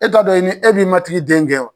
E t'a dɔn i ni e b'i ma tigi den gɛn wa